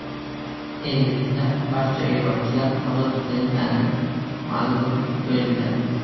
Endilikda barcha yo‘lovchilar ozod qilingani ma’lum bo‘ldi.